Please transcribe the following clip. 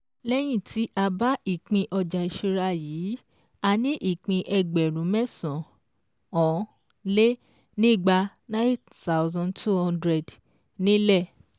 Lẹ́yìn tí a bá ìpín ọjà ìṣúra yìí, a ní ìpín Ẹgbẹ̀rún mẹ́sàn-án-lé-nígba (9,200) nílẹ̀